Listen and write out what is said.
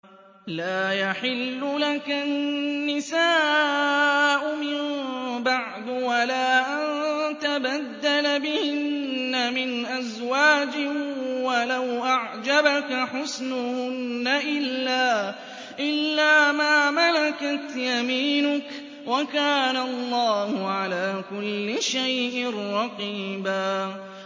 لَّا يَحِلُّ لَكَ النِّسَاءُ مِن بَعْدُ وَلَا أَن تَبَدَّلَ بِهِنَّ مِنْ أَزْوَاجٍ وَلَوْ أَعْجَبَكَ حُسْنُهُنَّ إِلَّا مَا مَلَكَتْ يَمِينُكَ ۗ وَكَانَ اللَّهُ عَلَىٰ كُلِّ شَيْءٍ رَّقِيبًا